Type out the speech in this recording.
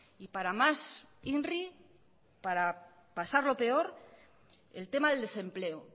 y para más inri para pasarlo peor el tema del desempleo